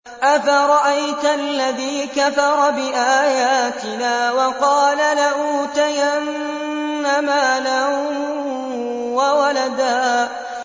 أَفَرَأَيْتَ الَّذِي كَفَرَ بِآيَاتِنَا وَقَالَ لَأُوتَيَنَّ مَالًا وَوَلَدًا